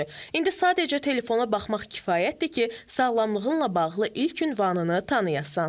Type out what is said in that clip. İndi sadəcə telefona baxmaq kifayətdir ki, sağlamlığınla bağlı ilk ünvanını tanıyasan.